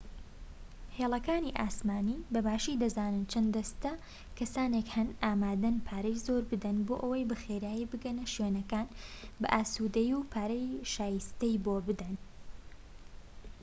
هێڵەکانی ئاسمانی بەباشی دەزانن چەند دەستە کەسانێک هەن ئامادەن پارەی زۆر بدەن بۆ ئەوەی بە خێرایی بگەنە شوێنەکان بە ئاسودەیی و پارەی شایستەی بۆ بدەن